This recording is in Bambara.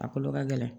A kolo ka gɛlɛn